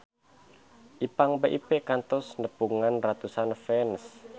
Ipank BIP kantos nepungan ratusan fans